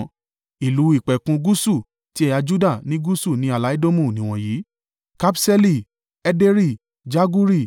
Ìlú ìpẹ̀kun gúúsù ti ẹ̀yà Juda ní gúúsù ní ààlà Edomu nìwọ̀nyí: Kabṣeeli, Ederi, Jaguri,